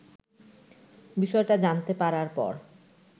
বিষয়টা জানতে পারার পর